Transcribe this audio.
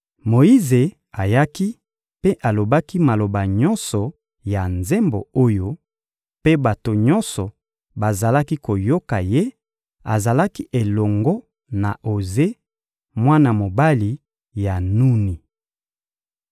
Moyize ayaki mpe alobaki maloba nyonso ya nzembo oyo, mpe bato nyonso bazalaki koyoka ye; azalaki elongo na Oze, mwana mobali ya Nuni.